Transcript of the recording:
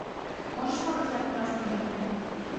можешь показать нас не догонят